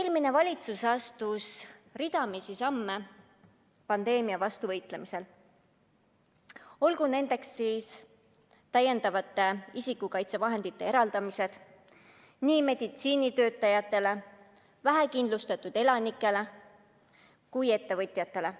Eelmine valitsus astus ridamisi samme pandeemia vastu võitlemisel, olgu nendeks täiendavate isikukaitsevahendite eraldamine nii meditsiinitöötajatele, vähekindlustatud elanikele kui ka ettevõtjatele